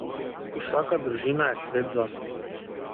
Vsaka družina je svet zase.